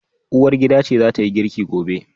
Uwargida ce zatayi girki gobe